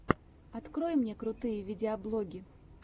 открой мне крутые видеоблоги